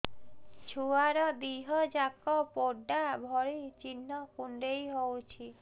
ଛୁଆର ଦିହ ଯାକ ପୋଡା ଭଳି ଚି଼ହ୍ନ କୁଣ୍ଡେଇ ହଉଛି